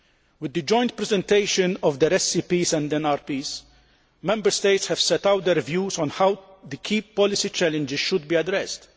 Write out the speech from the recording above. With the joint presentation of their SCPs and NRPs, Member States have set out their views on how the key policy challenges should be addressed.